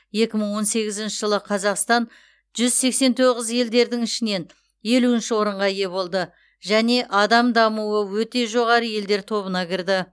екі мың он сегізінші жылы қазақстан жүз сексен тоғыз елдердің ішінен елу орынға ие болды және адам дамуы өте жоғары елдер тобына кірді